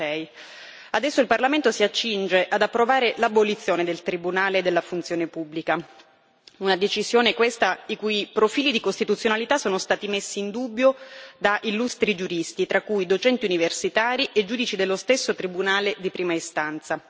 56. Adesso il Parlamento si accinge ad approvare l'abolizione del Tribunale della funzione pubblica, una decisione i cui profili di costituzionalità sono stati messi in dubbio da illustri giuristi, tra cui docenti universitari e giudici dello stesso Tribunale di prima istanza.